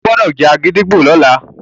ìwo gbódò já gídígbò lọla!